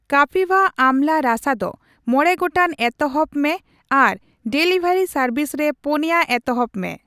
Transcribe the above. ᱠᱟᱯᱤᱵᱣᱟ ᱟᱢᱞᱟ ᱨᱟᱥᱟ ᱫᱚ ᱢᱚᱲᱮ ᱜᱚᱴᱟᱝ ᱮᱛᱚᱦᱚᱵ ᱮᱢ ᱢᱮ ᱟᱨ ᱰᱮᱞᱤᱵᱷᱟᱨᱤ ᱥᱟᱨᱵᱷᱤᱥ ᱨᱮ ᱯᱩᱱᱭᱟᱹ ᱮᱛᱚᱦᱚᱵᱽ ᱢᱮ ᱾